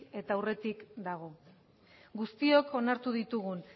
eta urretik dago guztiok onartu ditugun